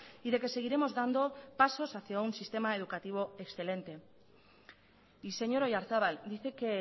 y de que seguiremos dando pasos hacia un sistema educativo excelente y señor oyarzabal dice que